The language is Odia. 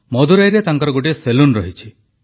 ମଦୁରାଇରେ ତାଙ୍କର ଗୋଟିଏ ସେଲୁନ ରହିଛି